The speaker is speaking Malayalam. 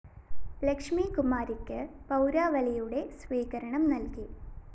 ലക്ഷ്മി കുമാരിക്ക് പൗരാവലിയുടെ സ്വീകരണം നല്‍കും